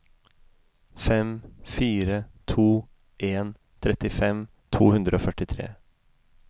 fem fire to en trettifem to hundre og førtitre